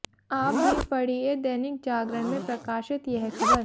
आप भी पढ़िए दैनिक जागरण में प्रकाशित यह खबर